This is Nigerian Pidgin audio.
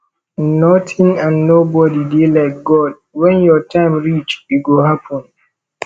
nothing and nobody dey like god wen your time reach e go happen